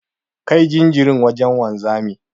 Kai jinjirin wajen wanzamin.